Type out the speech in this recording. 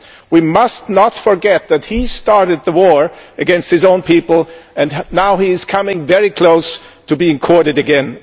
We must not forget that he started the war against his own people, and now he is coming very close to being courted again.